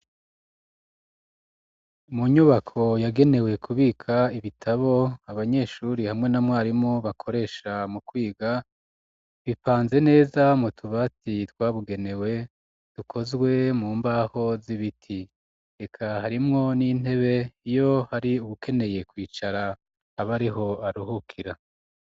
Mu nyubako yagenewe kubika ibitabo abanyeshuri hamwe na mwarimu bakoresha mu kwiga bipanze neza mu tubati twabugenewe dukozwe mu mbaho z'ibiti reka harimwo n'intebe iyo hari uwukeneye kwicara abe ariho aruhukira.